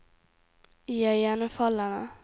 iøynefallende